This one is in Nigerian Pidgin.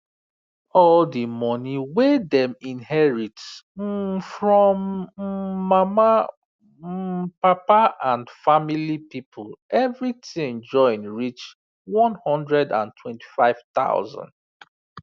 all the money wey dem inherit um from um mama um papa and family people everything join reach one hundred and twenty five thousand